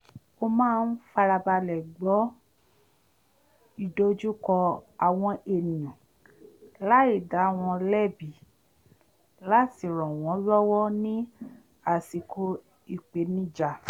ó máa ń farabalẹ̀ gbọ́ ìdojúkọ àwọn ènìyàn láì dá wọn lẹ́bi láti ràn wọn lọ́wọ́ ní àsìkò ìpènijà